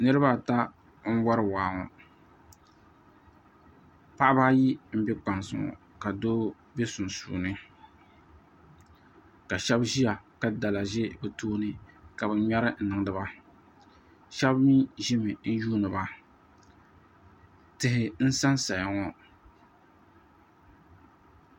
niriba ata n-wari waa ŋɔ paɣiba ayi m-be kpansi ŋɔ ka doo be sunsuuni ka shɛba ʒiya ka dala ʒi bɛ tooni ka bɛ ŋmɛri n-niŋdi ba shɛba mi ʒimi n-yuuni ba tihi n-sansaya ŋɔ